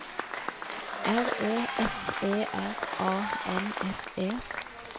R E F E R A N S E